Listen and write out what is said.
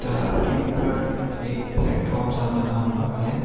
तलाब एक प्लेटफार्म सा बना हुआ है।